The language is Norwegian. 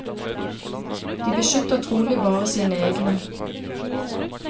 De beskytter trolig bare sine egne.